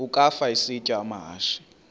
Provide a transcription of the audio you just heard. ukafa isitya amahashe